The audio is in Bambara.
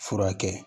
Furakɛ